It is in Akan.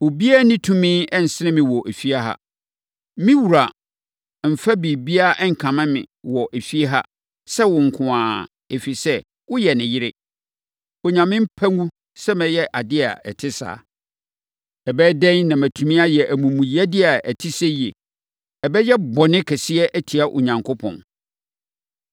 Obiara nni tumi nsene me wɔ efie ha. Me wura mmfa biribiara nkame me wɔ efie ha sɛ wo nko ara, ɛfiri sɛ, woyɛ ne yere. Onyame mpa ngu sɛ mɛyɛ adeɛ a ɛte saa. Ɛbɛyɛ dɛn na matumi ayɛ amumuyɛdeɛ a ɛte seyie! Ɛbɛyɛ bɔne kɛseɛ atia Onyankopɔn.”